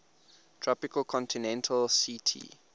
tropical continental ct